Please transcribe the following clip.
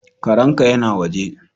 Karen ka ya na waje.